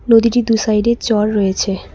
নদীটির দুই সাইডে জল রয়েছে।